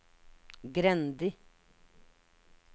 Grendi